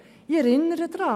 Ich erinnere daran: